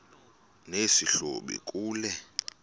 nesi hlubi kule